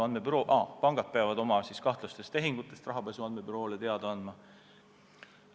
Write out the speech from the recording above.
Pangad peavad oma kahtlastest tehingutest rahapesu andmebüroole teada andma.